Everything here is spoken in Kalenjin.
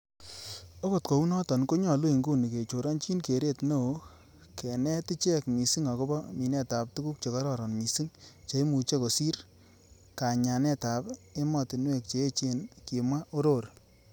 'Okot kounoton konyolu inguni kechoronyin keret neo kenet iche missing agobo minetab tuguk chekororon mising, cheimuche kosir kanyanetab emotinwek che echen,''kimwa Orori.